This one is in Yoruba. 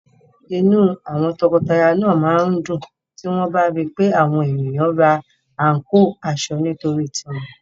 Inú àwọn tọkọtaya náà máa dùn tí wọ́n bá ri pé àwọn ènìyàn ra àǹkóò aṣọ nítorí tiwọn.